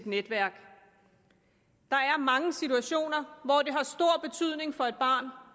netværk der er mange situationer hvor det har